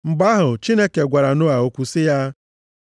Mgbe ahụ, Chineke gwara Noa okwu sị ya,